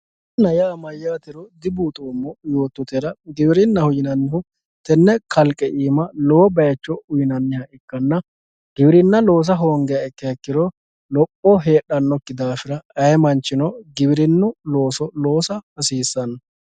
giwirinna yaa mayyaatero dibuuxoommo yoottotera tenne kalqe iima lowo bayiicho uyiinanniha ikkanna giwirinna loosa hoongiha ikkiha ikkiro lopho heedhanokki daafira ayee manchino giwirinnu looso loosa hasiissanno.